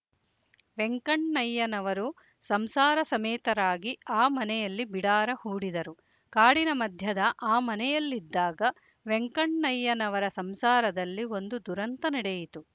ವೆಂಕಣ್ಣಯ್ಯನವರು ಸಂಸಾರ ಸಮೇತರಾಗಿ ಆ ಮನೆಯಲ್ಲಿ ಬಿಡಾರ ಹೂಡಿದರು ಕಾಡಿನ ಮಧ್ಯದ ಆ ಮನೆಯಲ್ಲಿದ್ದಾಗ ವೆಂಕಣ್ಣಯ್ಯನವರ ಸಂಸಾರದಲ್ಲಿ ಒಂದು ದುರಂತ ನಡೆಯಿತು